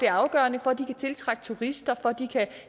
afgørende for at de kan tiltrække turister